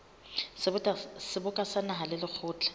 seboka sa naha le lekgotla